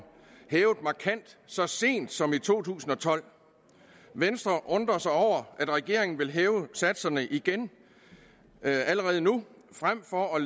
hævet markant så sent som i to tusind og tolv venstre undrer sig over at regeringen vil hæve satserne igen allerede nu frem for at